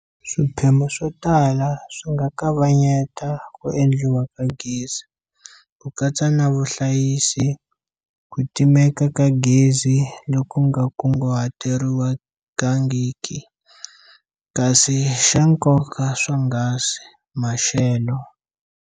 Swiphemu swo tala swi nga kavanyeta ku endliwa ka gezi, ku katsa na vuhlayisi, ku timeka ka gezi loku nga kunguhateriwangiki, kasi xa nkoka swonghasi, maxelo.